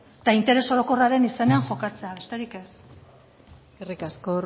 eta interes orokorraren izena jokatzea besterik ez eskerrik asko